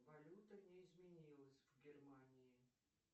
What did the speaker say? валюта не изменилась в германии